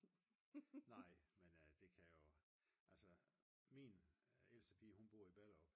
Nej men det kan jo altså min ældste pige hun bor i Ballerup